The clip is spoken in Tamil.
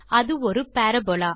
அது ஒரு பரபோலா